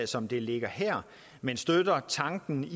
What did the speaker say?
som det ligger her men støtter tanken